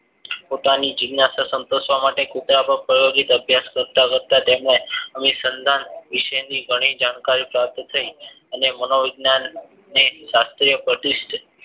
પોતાની જીજ્ઞાશા સંતોસવા માટે કુતરા પાર પ્રાયોગિક અભ્યાસ કરતા કરતા તેમને અભિસંદાન વિશેની ઘણી જાણકારી પ્રાપ્ત થાય અને મનોવિજ્ઞાન ને સાથે પ્રતિસ્થ